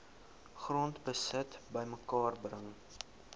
grondbesit bymekaar bring